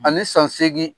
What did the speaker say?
Ani san seegin